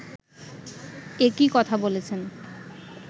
একই কথা বলেছেন